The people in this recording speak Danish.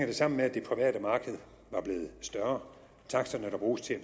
det sammen med at det private marked var blevet større taksterne der bruges til at